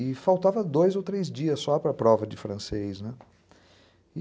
E faltava dois ou três dias só para a prova de francês, né?